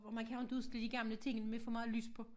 Og man kan jo inte udstille de gamle ting med for meget lys på